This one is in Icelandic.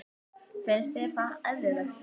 Finnst þér það eðlilegt?